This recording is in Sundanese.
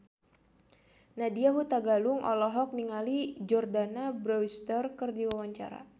Nadya Hutagalung olohok ningali Jordana Brewster keur diwawancara